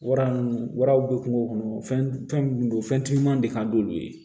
Wara mun waraw be kungo kɔnɔ fɛn mun don fɛn ti ɲuman de ka d'olu ye